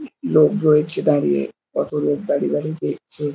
উ উ লোক রয়েছে দাড়িয়ে কত লোক দাড়িয়ে দাড়িয়ে দেখছে।